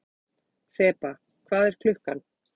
Þeba, hvað er klukkan?